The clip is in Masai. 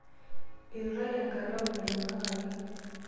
eturrayie enkalamu nainyiangakaki